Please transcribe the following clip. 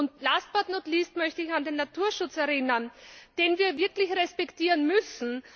Und last, but not least möchte ich an den Naturschutz erinnern, den wir wirklich respektieren müssen.